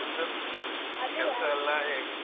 ನಿಮ್ದು, ಎಲ್ಲ ಹೇಗೆ?